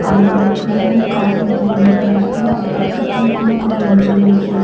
அ முன்னாடி கார் ஒன்று நின்று கொண்டுருக்குது அதுக்கு பக்கத்தில் பூ கடை ஒன்று இருக்கிற --